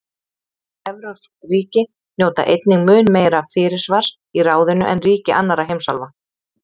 Evrópsk ríki njóta einnig mun meira fyrirsvars í ráðinu en ríki annarra heimsálfa.